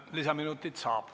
Kolm lisaminutit saab.